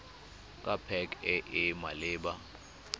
ke pac e e maleba